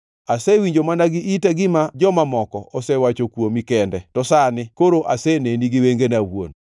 Asewinjo mana gi ita gima joma moko osewacho kuomi kende to sani koro aseneni gi wengena awuon.